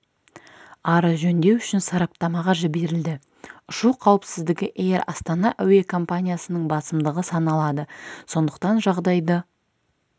ары жөндеу үшін сараптамаға жіберілді ұшу қауіпсіздігі эйр астана әуе компаниясының басымдығы саналады сондықтан жағдайды